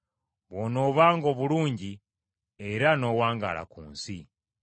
Bw’onoobanga obulungi, era n’owangaala ku nsi.